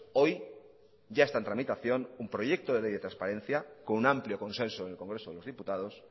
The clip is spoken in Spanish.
hoy ya está en tramitación un proyecto de ley de transparencia con un amplio consenso en el congreso de los diputados